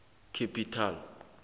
capital